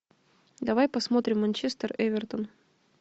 давай посмотрим манчестер эвертон